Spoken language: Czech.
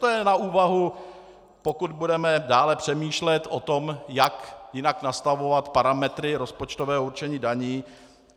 To je na úvahu, pokud budeme dále přemýšlet o tom, jak jinak nastavovat parametry rozpočtového určení daní.